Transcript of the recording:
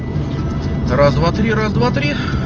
раз два три раз два три